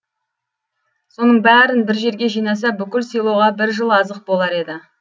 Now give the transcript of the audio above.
соның бәрін бір жерге жинаса бүкіл селоға бір жыл азық болар еді